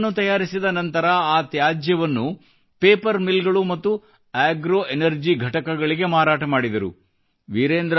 block ಗಳನ್ನು ತಯಾರಿಸಿದ ನಂತರ ಆ ತ್ಯಾಜ್ಯವನ್ನು ಪೇಪರ್ ಮಿಲ್ ಗಳು ಮತ್ತು ಆಗ್ರೊ ಎನರ್ಜಿ ಘಟಕಗಳಿಗೆ ಮಾರಾಟ ಮಾಡಿದರು